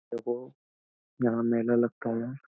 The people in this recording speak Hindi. देखो यहां मेला लगता हूं --